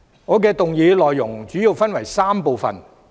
我的議案內容主要分為3部分。